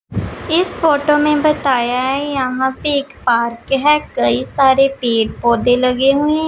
इस फोटो में बताया है। यहां पे एक पार्क है। कई सारे पेड़-पौधे लगे हुए--